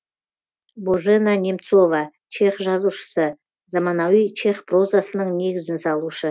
божена немцова чех жазушысы заманауи чех прозасының негізін салушы